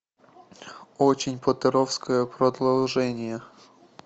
очень поттеровское продолжение